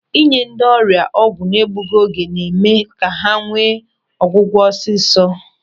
Ị nye ndị ọrịa ọgwụ n'egbughị oge na-eme ka ha nwee ọgwụgwọ ọsịsọ.